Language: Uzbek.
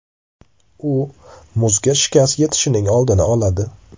U muzga shikast yetishining oldini oladi.